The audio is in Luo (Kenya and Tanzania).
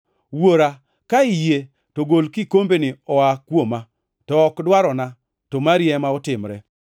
“Wuora, ka iyie, to gol kikombeni oa kuoma, to ok dwarona, to mari ema otimre.”